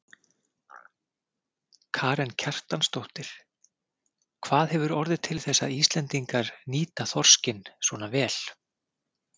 Karen Kjartansdóttir: Hvað hefur orðið til þess að Íslendingar nýta þorskinn svona vel?